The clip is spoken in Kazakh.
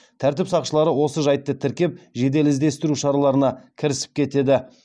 тәртіп сақшылары осы жайтты тіркеп жедел іздестіру шараларына кірісіп кетеді